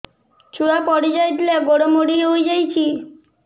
ଛୁଆ ପଡିଯାଇଥିଲା ଗୋଡ ମୋଡ଼ି ହୋଇଯାଇଛି